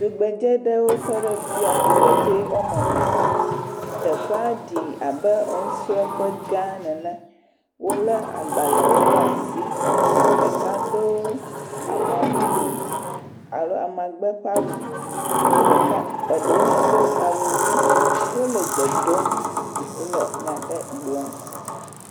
Tugbedzɛ ɖewo tɔ ɖe fia, tugbedzɛ woame ene, teƒea ɖi abe enusrɔƒe gã nene, ɖeka lé agbalẽwo ɖe asi, ɖeka do ama mumu alo amagbe ƒe awu. Ke ɖeka eɖewo hã do awu ʋi, wole enya aɖewo gblɔm.